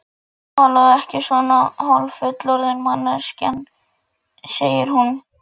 Í norðri og norðvestri blasa við leirgráir skriðjöklar.